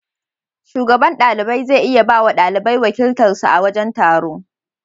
Shugaban ɗalibai zai iya bawa ɗalibai wakiltar su a wajen taro.